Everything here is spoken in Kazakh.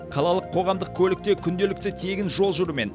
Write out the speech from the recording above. қалалық қоғамдық көлікте күнделікті тегін жол жүрумен